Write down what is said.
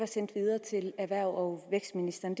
sendt videre til erhvervs og vækstministeren